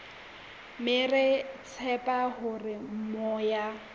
mme re tshepa hore moya